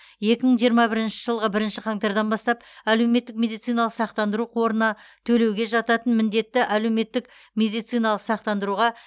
екі мың жиырма бірінші жылғы бірінші қаңтардан бастап әлеуметтік медициналық сақтандыру қорына төлеуге жататын міндетті әлеуметтік медициналық сақтандыруға